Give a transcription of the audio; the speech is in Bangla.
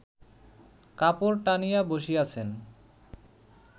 কাপড় টানিয়া বসিয়াছেন